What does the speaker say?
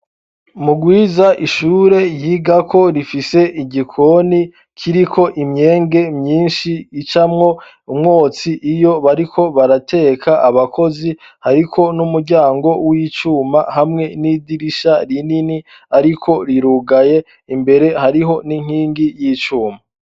Mugwiza ishure yigako rifise igikoni kiriko imyenge myinshi icamwo umwotsi iyo bariko barateka abakozi ariko n'umuryango w'icuma hamwe n'idirisha rinini ariko rirugaye imbere hariho n'inkingi y'icuma.